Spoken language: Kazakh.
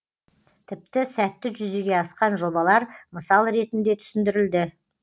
тіпті сәтті жүзеге асқан жобалар мысал ретінде түсіндірілді